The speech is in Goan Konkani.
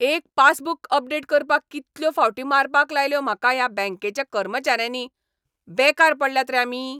एक पासबुक अपडेट करपाक कितल्यो फावटी मारपाक लायल्यो म्हाका ह्या बॅंकेच्या कर्मचाऱ्यांनी. बेकार पडल्यात रे आमी!